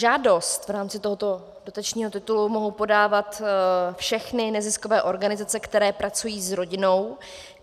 Žádost v rámci tohoto dotačního titulu mohou podávat všechny neziskové organizace, které pracují s rodinou.